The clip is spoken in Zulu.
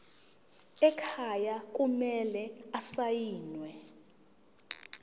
ekhaya kumele asayiniwe